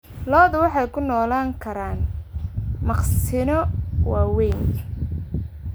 Lo'du waxay ku noolaan karaan maqsinno waaweyn.